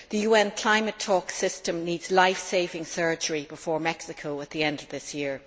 The UN climate talks system needs life saving surgery before Mexico at the end of this year.